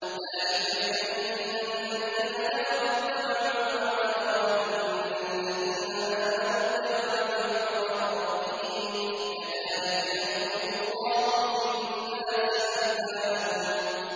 ذَٰلِكَ بِأَنَّ الَّذِينَ كَفَرُوا اتَّبَعُوا الْبَاطِلَ وَأَنَّ الَّذِينَ آمَنُوا اتَّبَعُوا الْحَقَّ مِن رَّبِّهِمْ ۚ كَذَٰلِكَ يَضْرِبُ اللَّهُ لِلنَّاسِ أَمْثَالَهُمْ